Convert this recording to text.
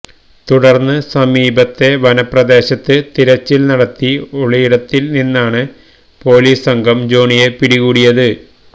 തുടർന്ന് സമീപത്തെ വനപ്രദേശത്ത് തിരച്ചിൽ നടത്തി ഒളിയിടത്തിൽ നിന്നാണ് പൊലീസ് സംഘം ജോണിയെ പിടികൂടിയത്